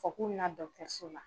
k'u bɛ na dɔgɔtɔrɔso la